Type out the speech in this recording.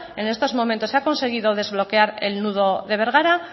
en estos momentos se ha conseguido desbloquear el nudo de bergara